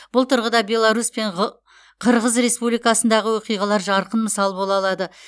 бұл тұрғыда беларусь пен ғ қырғыз республикасындағы оқиғалар жарқын мысал бола алады